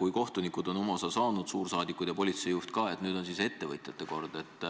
kui kohtunikud on oma osa saanud, suursaadikud ja politsei juht ka, siis nüüd on ettevõtjate kord.